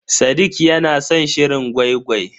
Sadiq ya na san shirin gwai-gwai.